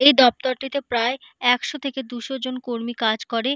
এই দপ্তরটিতে প্রায় একশো থেকে দুশো জন কর্মী কাজ করে।